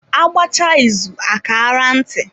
A gbachaa izu a kaara ntị.